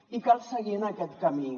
i cal seguir en aquest camí